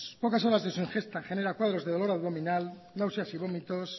pocas horas de su ingesta genera cuadros de dolor abdominal náuseas y vómitos